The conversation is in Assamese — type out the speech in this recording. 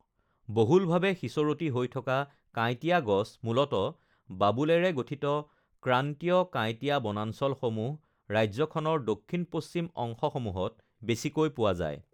বহুলভাৱে সিঁচৰতি হৈ থকা কাঁইটীয়া গছ, মূলতঃ বাবুলেৰে গঠিত ক্ৰান্তীয় কাঁইটীয়া বনাঞ্চলসমূহ ৰাজ্যখনৰ দক্ষিণ-পশ্চিম অংশসমূহত বেছিকৈ পোৱা যায় ৷